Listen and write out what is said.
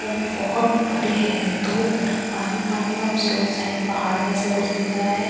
और बहुत बड़ी है ये दो तलब पानी पानी और उसके उस साइड कुछ पहाड़ जैसा दिख रहा है या ।